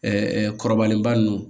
Ɛɛ kɔrɔbalenba nun